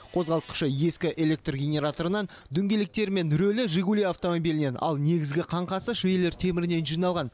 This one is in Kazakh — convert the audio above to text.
қозғалтқышы ескі электр генераторынан дөңгелектері мен рөлі жигули автомобилінен ал негізгі қаңқасы швеллер темірінен жиналған